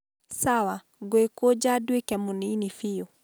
sawa, gwĩkũnja nginya nduĩke mũnini biũ